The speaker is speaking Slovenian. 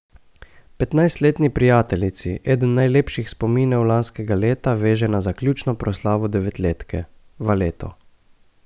Petnajstletni prijateljici eden najlepših spominov lanskega leta veže na zaključno proslavo devetletke, valeto.